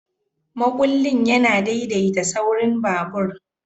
Makullin yana daidaita saurin babur.